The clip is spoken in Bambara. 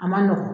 A ma nɔgɔn